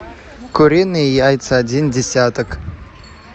куриные яйца один десяток